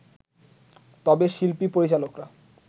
তবে শিল্পী-পরিচালকরা